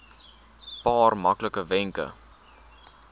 paar maklike wenke